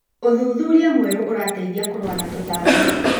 ũthuthuria mwerũ ũrateithia kũrũa na tũtambi.